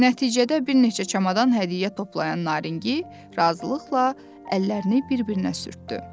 Nəticədə bir neçə çamadan hədiyyə toplayan Naringi razılıqla əllərini bir-birinə sürtdü.